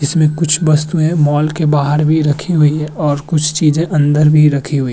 इसमें कुछ वस्तुएं मॉल के बाहर भी रखी हुई हैं और कुछ चीजे अंदर भी रखी हुई हैं।